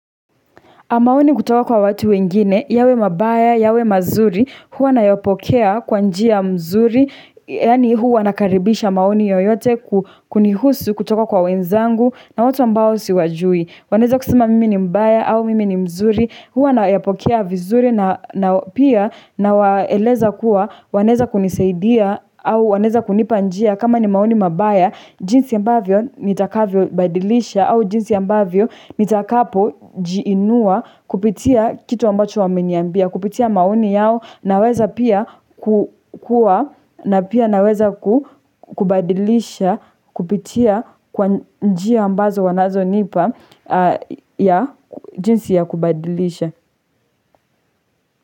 Maoni kutoka kwa watu wengine, yawe mabaya, yawe mazuri, huwa nayopokea kwa njia mzuri, yani huwa nakaribisha maoni yoyote kunihusu kutoka kwa wenzangu na watu ambao siwajui. Waneza kusema mimi ni mbaya au mimi ni mzuri, huwa nayapokea vizuri na pia nawaeleza kuwa waneza kuniseidia au waneza kunipa njia kama ni maoni mabaya, jinsi ambavyo nitakavyobadilisha au jinsi ambavyo nitakapo jiinua kupitia kitu ambacho wameniyambia, kupitia maoni yao na weza pia kukua na pia naweza kubadilisha kupitia kwa njia ambazo wanazonipa. Ya jinsi ya kubadilisha.